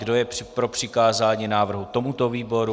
Kdo je pro přikázání návrhu tomuto výboru?